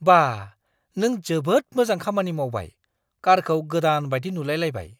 बा...! नों जोबोद मोजां खामानि मावबाय। कारखौ गोदान बायदि नुलाय लायबाय!